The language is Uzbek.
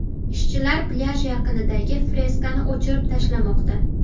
Ishchilar plyaj yaqinidagi freskani o‘chirib tashlamoqda.